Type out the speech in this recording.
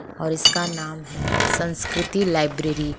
और इसका नाम है संस्कृति लाइब्रेरी ।